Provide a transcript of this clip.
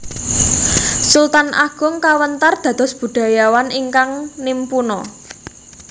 Sultan Agung kawentar dados budayawan Ingkang nimpuna